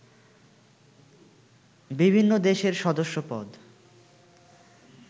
বিভিন্ন দেশের সদস্যপদ